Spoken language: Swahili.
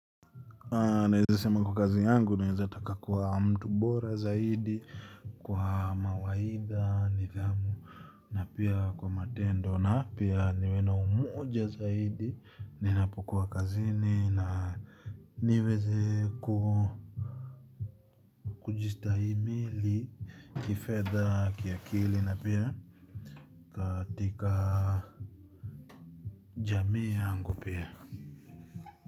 Naweza sema kwa kazi yangu naweza taka kwa mtu bora zaidi, kwa mawaidha, nidhamu, na pia kwa matendo na pia niwe na umoja zaidi, ninapokua kazini na niweze kujistahimili, kifedha, kiakili na pia katika jamii yangu pia.